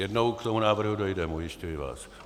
Jednou k tomu návrhu dojdeme, ujišťuji vás.